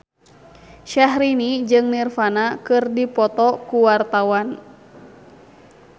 Syahrini jeung Nirvana keur dipoto ku wartawan